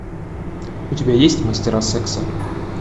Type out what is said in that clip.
у тебя есть мастера секса